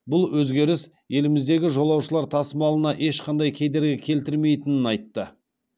бұл өзгеріс еліміздегі жолаушылар тасымалына ешқандай кедергі келтірмейтінін айтты